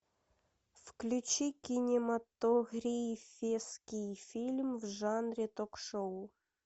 включи кинематографический фильм в жанре ток шоу